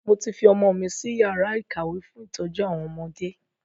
Mo ti fi ọmọ mi si yàrá ìkàwé fún ìtọ́jú àwọn ọmọdé